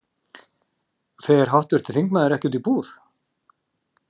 Fer háttvirtur þingmaður ekki út í búð?